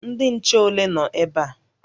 Ndị nche ole nọ ebe a?